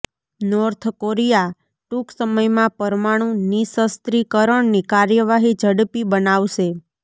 north Korea ટૂંક સમયમાં પરમાણુ નિશસ્ત્રીકરણની કાર્યવાહી ઝડપી બનાવશે